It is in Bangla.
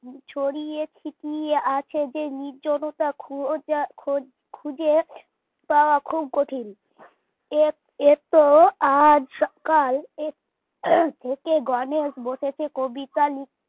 ছড়িয়ে ছিটিয়ে আছে যে নির্জনতা খোঁজা খ খুঁজে পাওয়া খুব কঠিন এ এত আজ সকাল থেকে গণেশ বসেছে কবিতা লিখতে